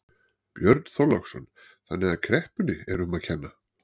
Björn Þorláksson: Þannig að kreppunni er um að kenna?